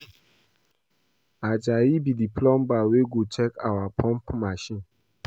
Ajayi be the plumber wey go check our pump machine